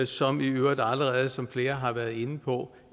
som i øvrigt allerede som flere har været inde på